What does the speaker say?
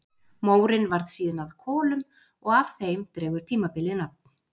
Mórinn varð síðan að kolum og af þeim dregur tímabilið nafn.